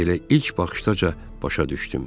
Elə ilk baxışdaca başa düşdüm.